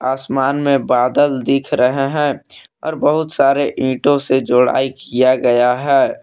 आसमान में बादल दिख रहे हैं और बहुत सारे ईंटों से जोड़ाई किया गया है।